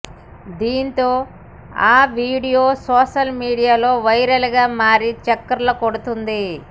దీంతో ఆ video social మీడియాలో వైరల్ గా మారి చక్కర్లు కొడుతోంది